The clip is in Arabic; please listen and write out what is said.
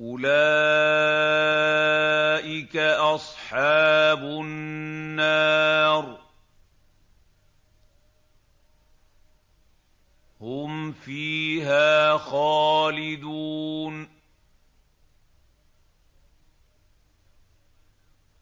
أُولَٰئِكَ أَصْحَابُ النَّارِ ۖ هُمْ فِيهَا خَالِدُونَ